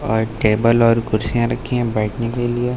और टेबल और कुर्सियां रखी हैं बैठने के लिए।